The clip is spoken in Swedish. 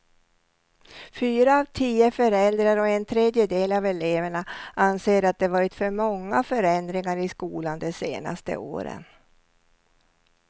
Fyra av tio föräldrar och en tredjedel av eleverna anser att det varit för många förändringar i skolan de senaste åren.